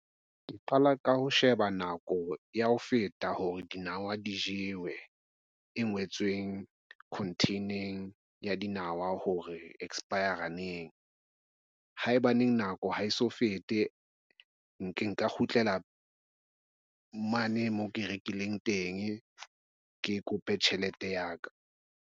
Ke qala ka ho sheba nako ya ho feta hore dinawa di jewe e ngwetsweng di-contain-eng ya dinawa hore expire neng haebaneng nako ha e so fete nka kgutlela mane moo ke rekileng teng ke kope tjhelete ya ka.